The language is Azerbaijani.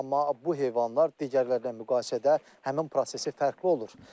Amma bu heyvanlar digərlərinə müqayisədə həmin prosesi fərqli olur.